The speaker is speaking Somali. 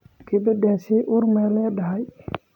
Gabadhaasi uur ma leedahay?